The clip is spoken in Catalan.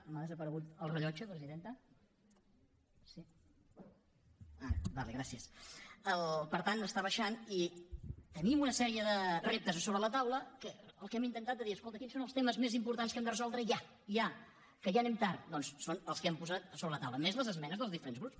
m’ha desaparegut el rellotge presidenta sí ara d’acord gràcies per tant està baixant i tenim una sèrie de reptes sobre la taula en què el que hem intentat és dir escolta quins són els temes més importants que hem de resoldre ja ja que ja anem tard doncs són els que hem posat sobre la taula més les esmenes dels diferents grups